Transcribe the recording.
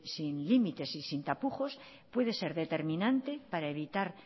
sin límites y sin tapujos puede ser determinante para evitar